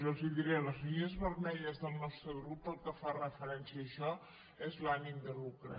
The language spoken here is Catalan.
i els ho diré la línia vermella del nostre grup pel que fa referència a això és l’ànim de lucre